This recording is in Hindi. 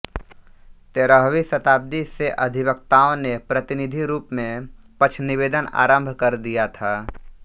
तेरहवीं शताब्दी से अधिवक्ताओं ने प्रतिनिधि रूप में पक्षनिवेदन आरंभ कर दिया था